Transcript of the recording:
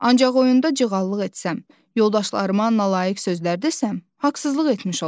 Ancaq oyunda cığallıq etsəm, yoldaşlarıma nalayiq sözlər desəm, haqsızlıq etmiş olaram.